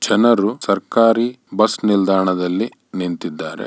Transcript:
ಜನರು ಸರ್ಕಾರಿ ಬಸ್ ನಿಲ್ದಾಣದಲ್ಲಿ ನಿಂತಿದ್ದಾರೆ.